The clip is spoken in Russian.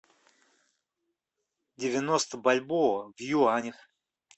девяносто бальбоа в юанях